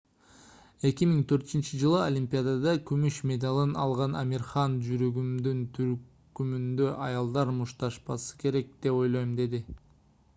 2004-ж олимпиадада күмүш медалын алган амир хан жүрөгүмдүн түпкүрүндө аялдар мушташпашы керек деп ойлойм - деди